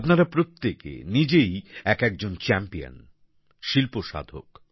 আপনারা প্রত্যেকে নিজেই এক একজন চ্যাম্পিয়ন শিল্প সাধক